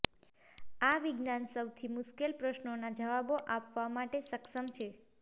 આ વિજ્ઞાન સૌથી મુશ્કેલ પ્રશ્નોના જવાબો આપવા માટે સક્ષમ છે